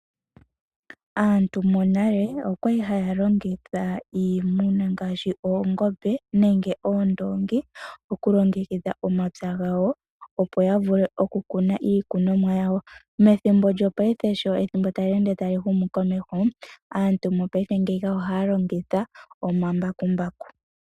Aantu monale okwali haya longitha iimuna ngaashi oongombe nenge oondongi okulongekidha omapya gawo opo ya vule okukuna iikunomwa yawo methimbo lyongaashingeyi sho ethimbo tali ende tali humu komeho aantu mongaashingeyi ohaya longitha omambakumbaku.